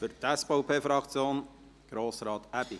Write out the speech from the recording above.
Für die SVP-Fraktion spricht Grossrat Aebi.